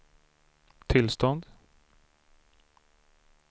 tillstånd